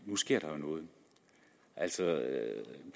nu sker der jo noget altså